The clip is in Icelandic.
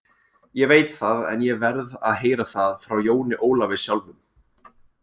Ég veit það, en ég verð að heyra það frá Jóni Ólafi sjálfum.